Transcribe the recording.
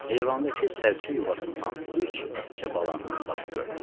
Eyvandakı sərçə yuvasından üç ətçə balanın başı görünürdü.